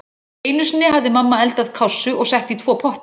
Einu sinni hafði mamma eldað kássu og sett í tvo potta.